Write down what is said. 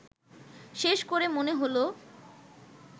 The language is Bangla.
শেষ করে মনে হলো